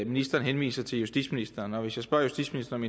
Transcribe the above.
ministeren henviser til justitsministeren og hvis jeg spørger justitsministeren